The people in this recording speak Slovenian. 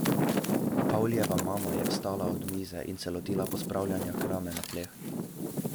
Pavlijeva mama je vstala od mize in se lotila pospravljanja krame na tleh.